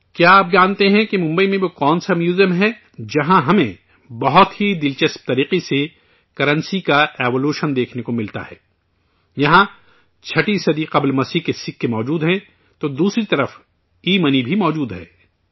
کیا آپ جانتے ہیں کہ ممبئی میں وہ کون سا میوزیم ہے، جہاں ہمیں بہت ہی دلچسپ طریقے سے کرنسی کا ارتقا دیکھنے کو ملتا ہے؟ یہاں چھٹویں صدی قبل عیسی مسیح کے سکے موجود ہیں، تو دوسری طرف ایمنی بھی موجود ہے